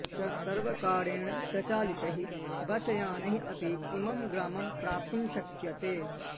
सर्वकारेण प्रचालितैः बसयानैः अपि इमं ग्रामं प्राप्तुं शक्यते